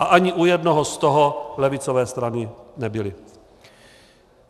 A ani u jednoho z toho levicové strany nebyly.